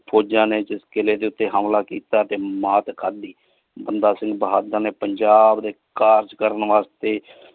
ਫੋਜਾਂ ਨੀ ਕੀਲੇ ਦੇ ਉਤੇ ਹਮਲਾ ਕੀਤਾ ਤੇ ਮਾਰ ਖਾਦੀ ਬੰਦਾ ਸਿੰਘ ਬਹਾਦਰ ਨੇ ਪੰਜਾਬ ਦੇ ਕਾਰਜ ਕਰਨ ਵਾਸਤੇ।